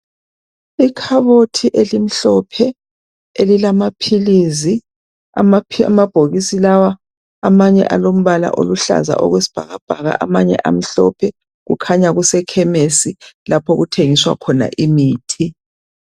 Ikhabothi elimhlophe elilamaphilisi. Amabhokisi lawa amanye alombala oluhlaza okwesibhakabhaka amanye amhlophe, kukhanya kusekhemisi lapho okuthengiswa khona imthi.